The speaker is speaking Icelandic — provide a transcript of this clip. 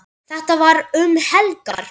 Þetta var um helgar.